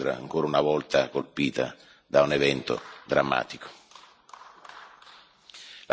Quindi siamo vicini alla città di Londra, ancora una volta colpita da un evento drammatico.